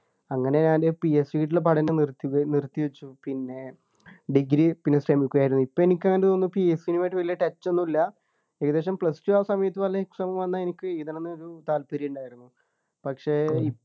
അങ്ങനെ ഞാന് PSC ട്ടുള്ള പഠനം നിർത്തി നിർത്തിവച്ചു പിന്നെ degree പിന്നെ sem ഒക്കെയായിരുന്നു ഇപ്പൊ എനിക് അങ്ങനെ തോന്നുന്നു PSC ആയിട്ട് വെല്യ touch ഒന്നുമില്ല ഏകദേശം plus two ആ സമയത്ത് വല്ല exam വന്നാൽ എനിക്ക് എഴുതണം ന്നു ഒരു താല്പര്യം ഉണ്ടായിരുന്നു പക്ഷേ